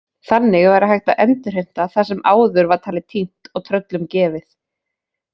Þannig væri hægt að endurheimta það sem áður var talið týnt og tröllum gefið.